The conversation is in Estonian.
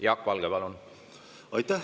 Jaak Valge, palun!